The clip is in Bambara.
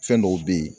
Fɛn dɔw be ye